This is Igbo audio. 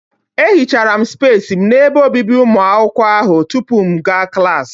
Ehuchara m spesi m n'ebe obibi ụmụ akwụkwọ ahụ tupu m aga klaasị.